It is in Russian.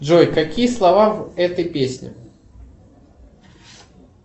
джой какие слова в этой песне